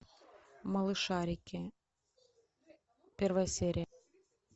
малышарики первая серия